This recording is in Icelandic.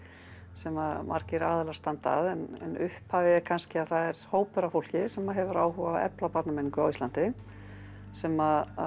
sem margir aðilar standa að en upphafið er kannski að það er hópur af fólki sem hefur áhuga á að efla barnamenningu á Íslandi sem